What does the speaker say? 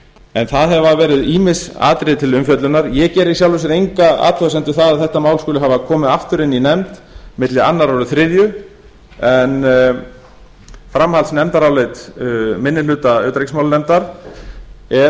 en það hafa verið ýmis atriði til umfjöllunar ég geri í sjálfu sér enga athugasemd við að þetta mál skuli hafa komið aftur inn í nefnd milli annars og þriðju umræðu en framhaldsnefndarálit minni hluta utanríkismálanefndar er